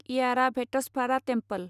एयाराभेटसभारा temple